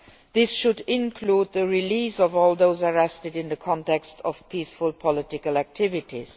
This should include the release of all those arrested in the context of peaceful political activities.